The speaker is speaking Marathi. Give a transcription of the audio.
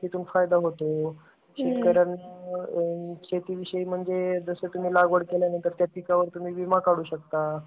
तून फायदा होतो. शेतकऱ्यांना शेती विषयी म्हणजे जसा तुम्हाला लागवड केल्या नंतर त्या पिकावर तुम्ही विमा काढू शकता.